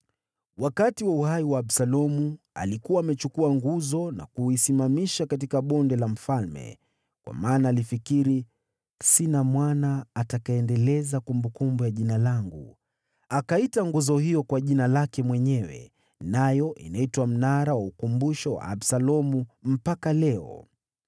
Wakati wa uhai wa Absalomu alikuwa amechukua nguzo na kuisimamisha katika Bonde la Mfalme, kwa maana alifikiri, “Sina mwana atakayeendeleza kumbukumbu ya jina langu.” Akaita nguzo hiyo kwa jina lake mwenyewe. Nayo inaitwa Mnara wa Ukumbusho wa Absalomu mpaka leo.